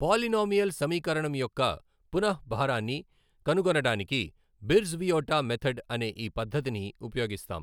Polynomial సమీకరణం యొక్క పునః భారాన్ని కనుగొనడానికి బిర్జ్ వియెటా మెథడ్ అనే ఈ పద్ధతిని ఉపయోగిస్తాం.